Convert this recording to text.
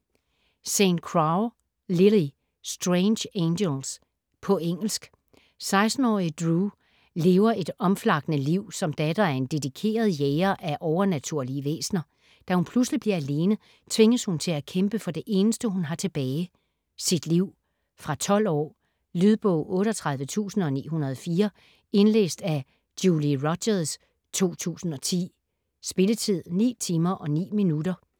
St. Crow, Lili: Strange angels På engelsk.16-årige Dru lever et omflakkende liv som datter af en dedikeret jæger af overnaturlige væsener. Da hun pludselig bliver alene, tvinges hun til at kæmpe for det eneste, hun har tilbage: sit liv! Fra 12 år. Lydbog 38904 Indlæst af Julie Rogers, 2010. Spilletid: 9 timer, 9 minutter.